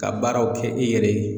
Ka baaraw kɛ i yɛrɛ ye